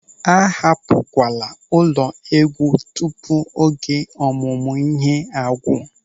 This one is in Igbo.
A hapụkwala ụlọ égwú tupu oge ọmụmụ ihe a gwụ.